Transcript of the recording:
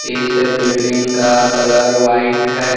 इस बिल्डिंग का colour white है।